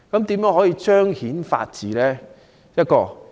如何才能彰顯法治？